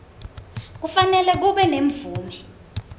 kufanele kube nemvume